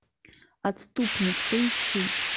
отступник поищи